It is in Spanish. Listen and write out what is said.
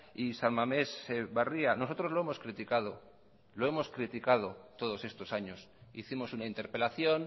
y san mamés barria nosotros lo hemos criticado lo hemos criticado todos estos años hicimos una interpelación